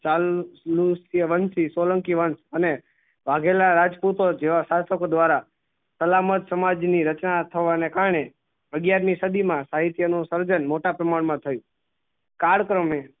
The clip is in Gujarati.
સાલ કે વંશી સોલંકી વંશ અને વાઘેલા રાજપૂતો જેવા સાચોકો દ્વારા સલામત સમાજ ની રચના અથવા ને કારણે અગ્યારની સદી માં સાહિત્ય નું સર્જન મોટા પ્રમાણ મા થયું કાળક્રમે